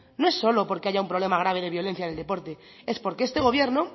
no es solo porque haya un problema grave de violencia en el deporte es porque este gobierno